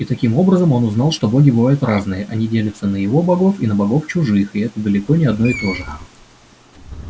и таким образом он узнал что боги бывают разные они делятся на его богов и на богов чужих и это далеко не одно и то же